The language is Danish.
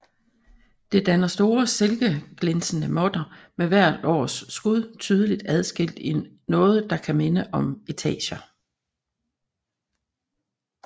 Det danner store silkeglinsende måtter med hvert års skud tydeligt adskilt i noget der kan minde om etager